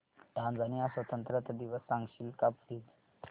Tanzania स्वतंत्रता दिवस सांगशील का प्लीज